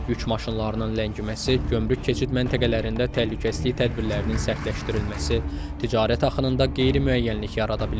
Yük maşınlarının ləngiməsi, gömrük keçid məntəqələrində təhlükəsizlik tədbirlərinin sərtləşdirilməsi ticarət axınında qeyri-müəyyənlik yarada bilər.